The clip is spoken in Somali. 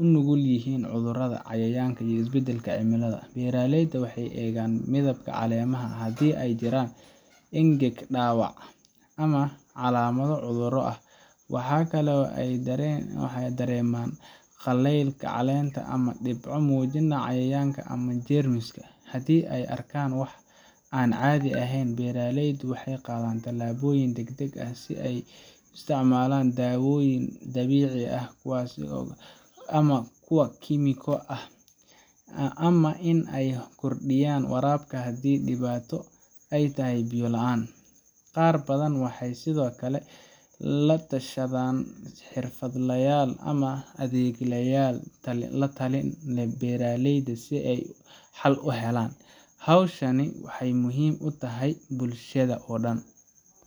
u nugul yihiin cudurrada, cayayaanka iyo isbeddelka cimilada. Beeraleyda waxay eegaan midabka caleemaha, haddii ay jiraan engeg, dhaawac, ama calaamado cudurro ah. Waxa kale oo ay dareemaan qallaylka caleenta ama dhibco muujinaya cayayaan ama jeermis. Haddii ay arkaan wax aan caadi ahayn, beeraleydu waxay qaadaan tallaabooyin degdeg ah sida in ay isticmaalaan daawooyin dabiici ah ama kuwa kiimiko ah, ama in ay kordhiyaan waraabka haddii dhibaato ay tahay biyo la'aan. Qaar badan waxay sidoo kale la tashadaan xirfadlayaal ama adeeglayal la-talin ee beeralayda si ay xal u helaan. Hawshan waxay aad muhiim ugu tahay bulshada oo dhan